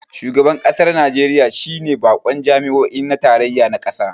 Shugaban kasar Najeriya shi ne bakon jami'o'i na tarayya na kasa